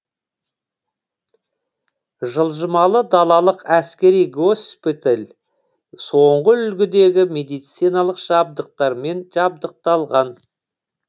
жылжымалы далалық әскери госпиталь соңғы үлгідегі медициналық жабдықтармен жарақталған